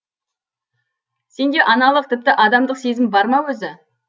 сенде аналық тіпті адамдық сезім бар ма өзі